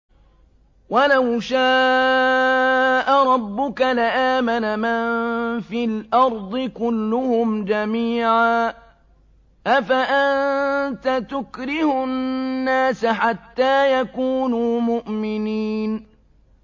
وَلَوْ شَاءَ رَبُّكَ لَآمَنَ مَن فِي الْأَرْضِ كُلُّهُمْ جَمِيعًا ۚ أَفَأَنتَ تُكْرِهُ النَّاسَ حَتَّىٰ يَكُونُوا مُؤْمِنِينَ